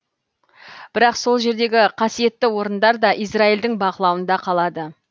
бірақ сол жердегі қасиетті орындар да израильдің бақылауында қалады